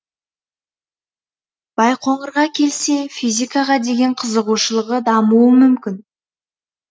байқоңырға келсе физикаға деген қызығушылығы дамуы мүмкін